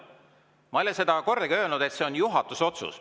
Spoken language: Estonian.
Ma ei ole seda kordagi öelnud, et see on juhatuse otsus.